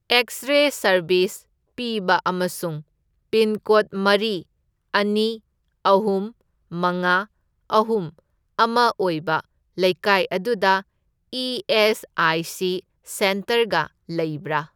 X ray service ꯄꯤꯕ ꯑꯃꯁꯨꯡ pin code ꯃꯔꯤ, ꯑꯅꯤ, ꯑꯍꯨꯝ, ꯃꯉꯥ, ꯑꯍꯨꯝ, ꯑꯃ ꯑꯣꯏꯕ ꯂꯩꯀꯥꯏ ꯑꯗꯨꯗ ꯏ.ꯑꯦꯁ.ꯑꯥꯏ.ꯁꯤ. ꯁꯦꯟꯇꯔꯒ ꯂꯩꯕ꯭ꯔꯥ?